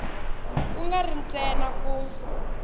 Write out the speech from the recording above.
ku nga ri ntsena ku